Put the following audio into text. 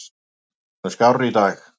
Ég er orðinn skárri í dag.